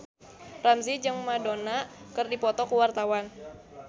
Ramzy jeung Madonna keur dipoto ku wartawan